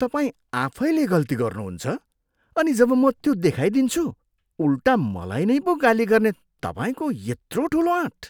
तपाईँ आफैले गल्ती गर्नुहुन्छ अनि जब म त्यो देखाइदिन्छु, उल्टा मलाई नै पो गाली गर्ने तपाईँको यत्रो ठुलो आँट?